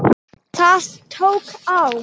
Það tók á.